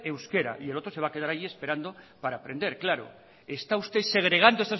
euskera y el otro se va a quedar allí esperando para aprender claro está usted segregando